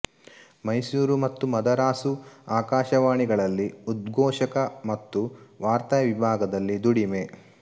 ಮೈಸೂರು ಮತ್ತು ಮದರಾಸು ಆಕಾಶವಾಣಿಗಳಲ್ಲಿ ಉದ್ಘೋಷಕ ಮತ್ತು ವಾರ್ತಾವಿಭಾಗದಲ್ಲಿ ದುಡಿಮೆ